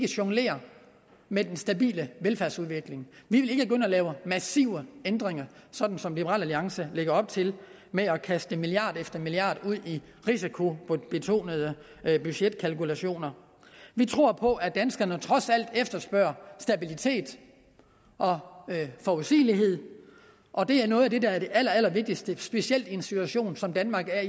jonglere med den stabile velfærdsudvikling vi vil ikke gå ind og lave massive ændringer sådan som liberal alliance lægger op til med at kaste milliard efter milliard ud i risikobetonede budgetkalkulationer vi tror på at danskerne trods alt efterspørger stabilitet og forudsigelighed og det er noget af det der er det allerallervigtigste specielt i en situation som danmark er